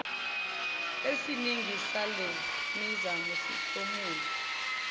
esiningi salemizamo sihlomula